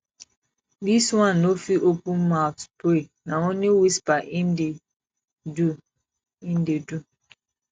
dis one no fit open mout pray na only whisper im dey do im dey do